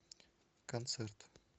концерт